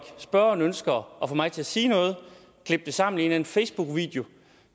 spørgeren ønsker at få mig til at sige noget og klippe det sammen i en facebookvideo